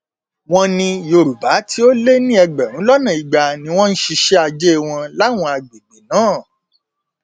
wọn ní yorùbá tó lé ní ẹgbẹrún lọnà igba ni wọn ń ṣiṣẹ ajé wọn láwọn àgbègbè náà